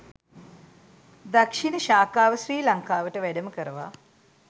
දක්‍ෂිණ ශාඛාව ශ්‍රී ලංකාවට වැඩම කරවා